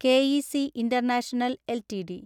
K E C International LTD